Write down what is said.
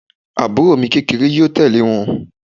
Àbúrò mi kékeré yóò tẹ̀lé wọn